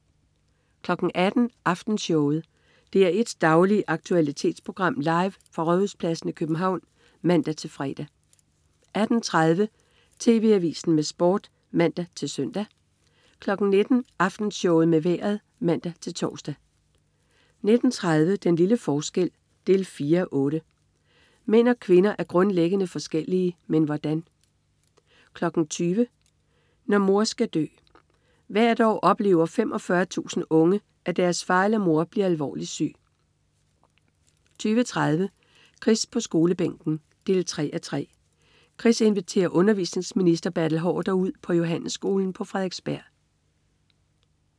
18.00 Aftenshowet. DR1s daglige aktualitetsprogram, live fra Rådhuspladsen i København (man-fre) 18.30 TV Avisen med Sport (man-søn) 19.00 Aftenshowet med Vejret (man-tors) 19.30 Den lille forskel 4:8. Mænd og kvinder er grundlæggende forskellige. Men hvordan? 20.00 Når mor skal dø. Hvert år oplever 45.000 unge, at deres far eller mor bliver alvorligt syg 20.30 Chris på Skolebænken 3:3. Chris inviterer undervisningsminister Bertel Haarder ud på Johannesskolen på Frederiksberg